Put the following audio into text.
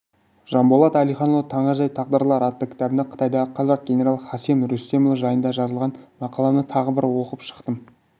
жанболат әлиханұлы таңғажайып тағдырлар атты кітабында қытайдағы қазақ генералы хасен рүстемұлы жайында жазылған мақаланы тағы бір оқып шықтым